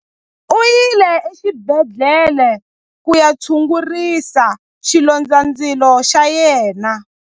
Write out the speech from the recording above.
U yile exibedhlele ku ya tshungurisa xilondzandzilo xa yena.